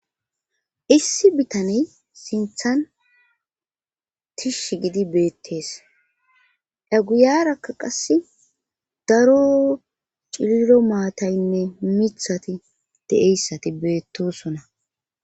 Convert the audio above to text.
issi bitaney sinthan tish gidi beettees eguyarakka qasse daro cillo maataynne mithati deeyssati beettosona